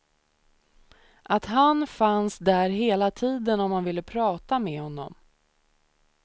Att han fanns där hela tiden om man ville prata med honom.